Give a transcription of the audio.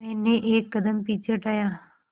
मैंने एक कदम पीछे हटाया